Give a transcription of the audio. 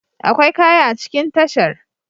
Akwai kaya a cikin tashar.